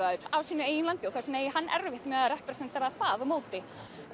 af sínu eigin landi þess vegna eigi hann erfitt með að representara það á móti